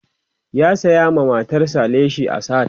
ya saya ma matar sa leshi a sahad